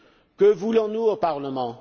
Que voulons nous au Parlement?